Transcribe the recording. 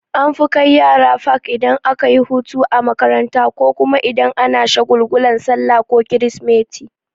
An fi kai yara fak idan akayi hutu a makaranta ko kuma idan ana shagulgulan sallah ko krismeti.